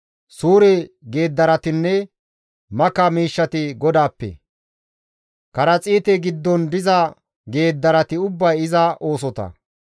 Suure geeddaratinne maka miishshati GODAAPPE; karaxiite giddon diza geeddarati ubbay iza oosota.